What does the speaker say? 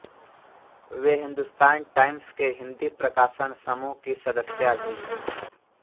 वे Hindustan Times के हिन्दी प्रकाशन समूह की सदस्या भी हैं